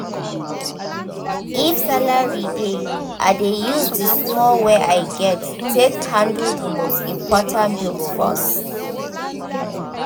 if salary delay i dey use the small wey i get take handle the most important bills first. um